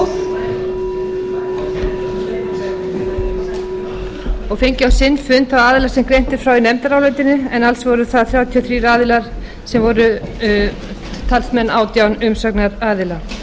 hljóð og fengið á sinn fund þá aðila sem greint er frá í nefndarálitinu en alls voru það þrjátíu og þrír aðilar sem voru talsmenn átján umsagnaraðila